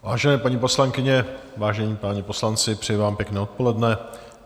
Vážené paní poslankyně, vážení páni poslanci, přeji vám pěkné odpoledne.